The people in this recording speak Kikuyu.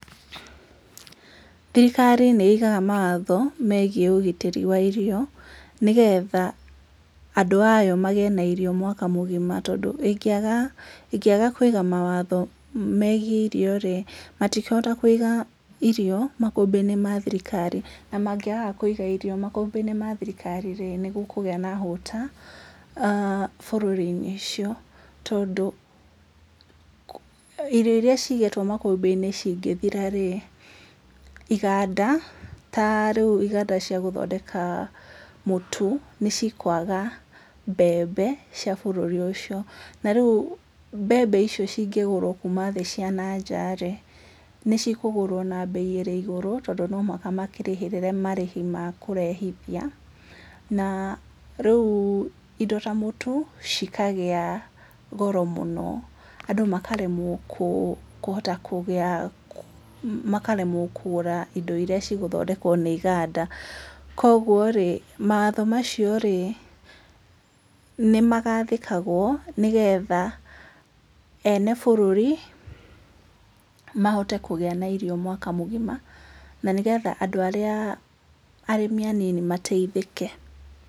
Thirikari nĩ ĩgaga mawatho megiĩ ũgitĩri wa irio, nĩgetha andũ a yo magĩe na irio mwaka mũgima. Tondũ ĩngĩaga ĩngĩaga kũiga mawatho megiĩ irio rĩ, matikũhota kũiga irio makũmbĩ-inĩ ma thirikari. Na mangĩaga kũiga irio makũmbĩ-inĩ ma thirikari rĩ, nĩ ngũkũgĩa na hũta eeh bũrũri-inĩ ũcio, tondũ irio irĩa cigĩtwo makũmbĩ-inĩ cingĩthira rĩ, iganda, ta rĩu iganda cia gũthondeka mũtu, nĩ cikwaga mbembe cia bũrũri ũcio. Na rĩu mbembe icio cingĩgũrwo kuuma thĩ cia nanja rĩ, nĩ cikũgũrwo na mbei ĩrĩ igũrũ, tondũ no mũhaka makĩrĩhĩrĩre marĩhi ma kũrehithia. Na rĩu indo ta mũtu, cikagĩa goro mũno. Andũ makaremwo kũhota kũgĩa, makaremwo kũgũra indo irĩa cigũthondekwo nĩ iganda. Koguo rĩ, mawatho macio rĩ, nĩ magathĩkagwo, nĩgetha ene bũrũri, mahote kũgĩa na irio mwaka mũgima. Na nĩgetha andũ arĩa arĩmi anini mateithĩke.